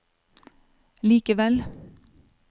likevel